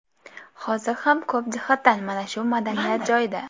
Hozir ham ko‘p jihatdan mana shu madaniyat joyida.